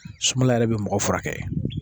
Sumala yɛrɛ bɛ mɔgɔ furakɛ